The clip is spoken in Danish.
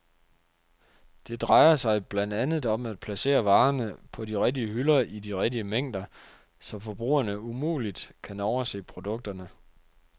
Det drejer sig blandt andet om at placere varerne på de rigtige hylder i de rigtige mængder, så forbrugerne umuligt kan overse produkterne.